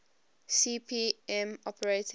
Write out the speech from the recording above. cp m operating